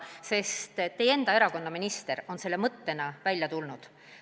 Ja teie enda erakonna minister on selle mõttega välja tulnud.